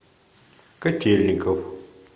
котельников